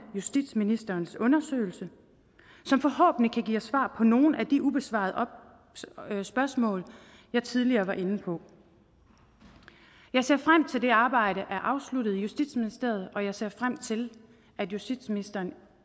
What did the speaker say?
justitsministerens undersøgelse som forhåbentlig kan svar på nogle af de ubesvarede spørgsmål jeg tidligere var inde på jeg ser frem til at det arbejde er afsluttet i justitsministeriet og jeg ser frem til at justitsministeren